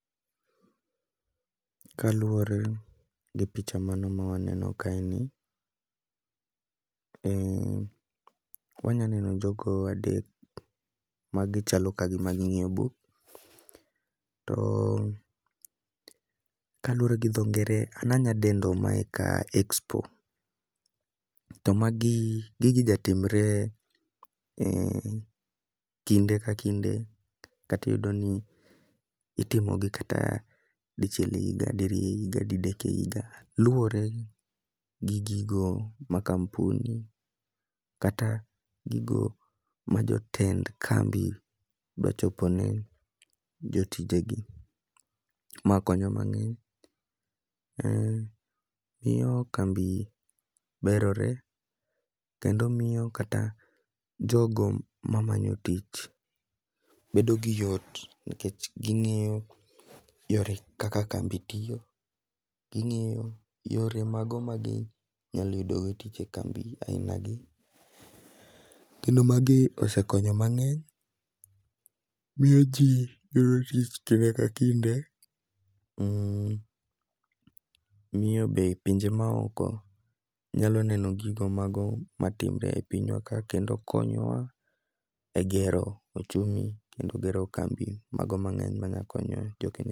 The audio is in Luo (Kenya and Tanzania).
Kaluwore gi picha mano ma waneno kae ni, wanya neno jogo adek ma gichalo ka gima ging'iyo buk. To kaluwore gi dho ngere an anyadendo mae ka expov, to mae gigi jatimre kinde ka kinde. Katiyudo ni itmogi kata dichiel e higa, diriyo e higa, didek e higa. Luwore gi gigo ma kampuni kata gigo ma jotend kambi dwa chopo ne jotije gi, ma konyo mang'eny. Miyo kambi berore, kendo miyo kata jogo ma manyo tich bedo gi yot. Nikech ging'iyo yore kaka kambi tiyo, ging'iyo yore mago ma gi nyalo yudo go tich e kambi aina gi. Kendo magi osekonyo mang'eny, miyo ji yudo tich kinde ka kinde. Miyo be pinje ma oko nyalo neno gigo mago matimre e pinywa ka kendo konyo wa e gero ochumi kendo gero kambi mago maber manya konyo jo Kenya.